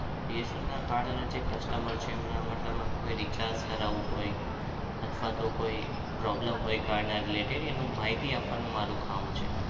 bsnlcard અને customer છે. એમના એટલે મતલબ કોઈ recharge કરાવવું હોય અથવા તો કોઈ problem હોય card નો related એની માહિતી આપવાનું મારું કામ છે.